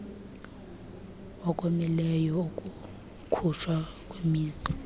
okomileyo okukhutshwa yimizi